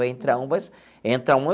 Vai entrar um vai entra um.